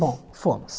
Bom, fomos.